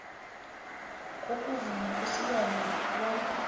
kokuvunywa kwesilwana bona